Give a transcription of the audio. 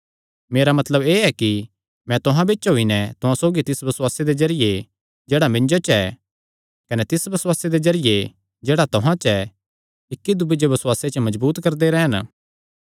मेरा मतलब एह़ ऐ कि मैं तुहां बिच्च होई नैं तुहां सौगी तिस बसुआसे दे जरिये जेह्ड़ा मिन्जो च ऐ कने तिस बसुआसे दे जरिये जेह्ड़ा तुहां च ऐ इक्की दूये जो बसुआसे च मजबूत करदे रैह़न